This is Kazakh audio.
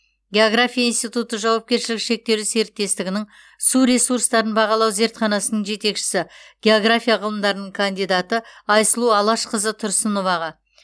география институты жауапкершілігі шектеулі серіктестігінің су ресурстарын бағалау зертханасының жетекшісі география ғылымдарының кандидаты айсұлу алашқызы тұрсыноваға